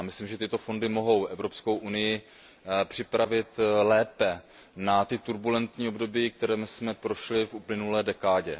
Myslím, že tyto fondy mohou Evropskou unii připravit lépe na ta turbulentní období, kterými jsme prošli v uplynulé dekádě.